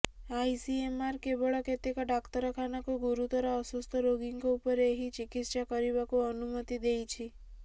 ICMR କେବଳ କେତେକ ଡାକ୍ତରଖାନାକୁ ଗୁରୁତର ଅସୁସ୍ଥ ରୋଗୀଙ୍କ ଉପରେ ଏହି ଚିକିତ୍ସା କରିବାକୁ ଅନୁମତି ଦେଇଛି